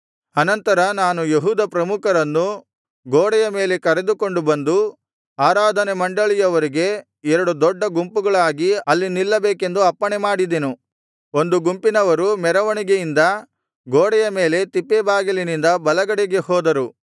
ಆನಂತರ ನಾನು ಯೆಹೂದ ಪ್ರಮುಖರನ್ನು ಗೋಡೆಯ ಮೇಲೆ ಕರೆದುಕೊಂಡು ಬಂದು ಆರಾಧನೆ ಮಂಡಳಿಯವರಿಗೆ ಎರಡು ದೊಡ್ಡ ಗುಂಪುಗಳಾಗಿ ಆಲ್ಲಿ ನಿಲ್ಲಬೇಕೆಂದು ಅಪ್ಪಣೆಮಾಡಿದನು ಒಂದು ಗುಂಪಿನವರು ಮೆರವಣಿಗೆಯಿಂದ ಗೋಡೆಯ ಮೇಲೆ ತಿಪ್ಪೆಬಾಗಿಲಿನಿಂದ ಬಲಗಡೆಗೆ ಹೋದರು